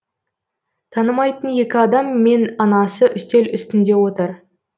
танымайтын екі адам мен анасы үстел үстінде отыр